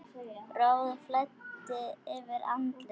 Roði flæddi yfir andlit hans.